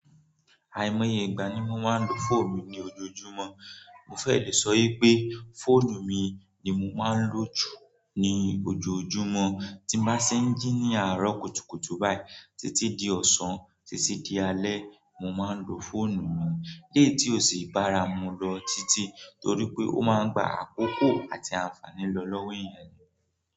Àìmọye ìgbà ni mo máa ń lo fóònù mi ní ojoojúmọ́. Mo fẹ́ lè sọ yé pé fóònù mi ni mo máa ń lò jù ní ojoojúmọ́. Tí mo bá ṣé ń jí ní àárọ̀ kùtùkùtù báyìí títí di ọ̀sán títí di alẹ́, mo máa ń lo fóònù mi. Léètí ò sì bára mu lọ títí torí pé ó máa ń gba àkókò àti àǹfààní lọ lọ́wọ́ èèyàn ni.